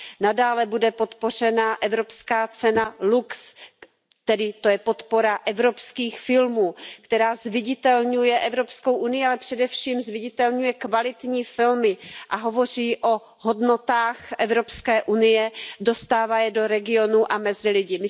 Nadále bude podpořena evropská cena LUX, tedy to je podpora evropských filmů, která zviditelňuje Evropskou unii, ale především zviditelňuje kvalitní filmy a hovoří o hodnotách Evropské unie, dostává je do regionů a mezi lidi.